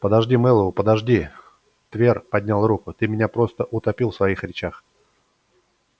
подожди мэллоу подожди твер поднял руку ты меня просто утопил в своих речах